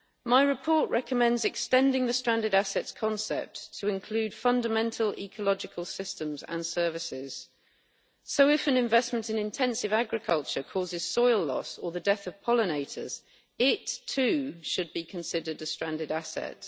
My report recommends extending the stranded assets concept to include fundamental ecological systems and services, so if an investment in intensive agriculture causes soil loss or the death of pollinators, it too should be considered a stranded asset.